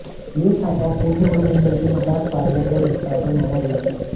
यह छापा पुणे और मुंबई के मसाज पार्लर और स्पा पर मारा गया था